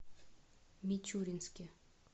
мичуринске